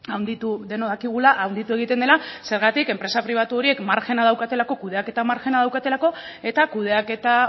denok dakigula handitu egiten dela zergatik enpresa pribatu horiek margena daukatelako kudeaketa margena daukatelako eta kudeaketa